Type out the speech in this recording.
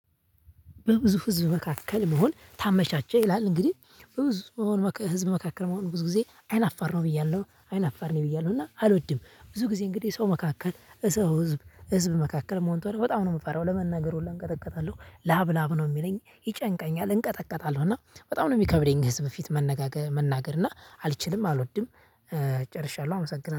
በብዙ ህዝብ መካከል መሆን ታመቻቸህ ይላል እንግዲህ በብዙ ህዝብ መካከል መሆን ብዙ ጊዜ አይን አፋር ነው ብያለሁ አይን አፋር ነኝ ብያለሁ። እና አልወድም። ብዙ ጊዜ እንግዲህ ሰው መካከል ሰው ህዝብ ህዝብ መካከል መሆን በጣም ነው የምፈራው። ለመናገር ሁሉ እንቀጠቀጣለሁ ላብ ላብ ነው የሚለኝ ይጨንቀኛል እንቀጠቀጣለሁ እና በጣም ነው የሚከብደኝ። ህዝብ ፊት መነጋገር መናገር እና አልችልም አልወድም። ጨርሻለሁ አመሰግናለሁ